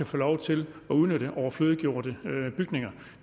få lov til at udnytte overflødiggjorte bygninger